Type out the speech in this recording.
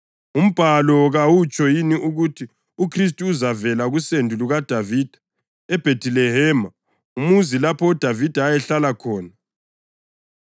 UMbhalo kawutsho yini ukuthi uKhristu uzavela kusendo lukaDavida, eBhethilehema, umuzi lapho uDavida ayehlala khona.”